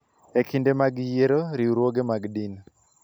E kinde mag yiero, riwruoge mag din .